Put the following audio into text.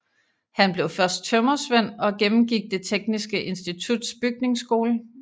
Han blev først tømrersvend og gennemgik Det Tekniske Instituts bygningsskole